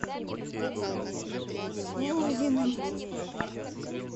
лузиным